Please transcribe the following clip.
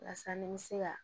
Walasa ni n bɛ se ka